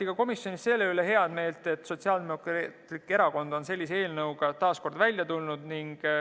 Komisjonis avaldati heameelt, et Sotsiaaldemokraatlik Erakond on sellise eelnõuga taas välja tulnud.